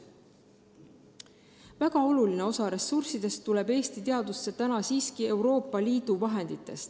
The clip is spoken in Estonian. Väga oluline osa rahast tuleb Eesti teadusse siiski Euroopa Liidu fondidest.